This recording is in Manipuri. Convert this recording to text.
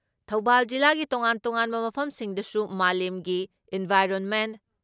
ꯊꯧꯕꯥꯥꯜ ꯖꯤꯂꯥꯒꯤ ꯇꯣꯉꯥꯟ ꯇꯣꯉꯥꯟꯕ ꯃꯐꯝꯁꯤꯡꯗꯁꯨ ꯃꯥꯂꯦꯝꯒꯤ ꯏꯟꯚꯥꯏꯔꯣꯟꯃꯦꯟ